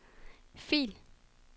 fil